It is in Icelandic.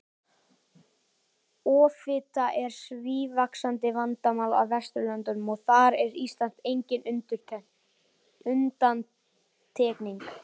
Offita er sívaxandi vandamál á Vesturlöndum og þar er Ísland engin undantekning.